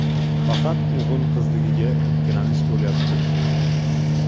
Faqat o‘g‘il-qizligiga ikkilanish bo‘lyapti.